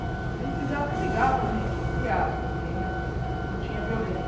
A gente briga brigava, a gente, entre aspas, ninguém... não tinha violência.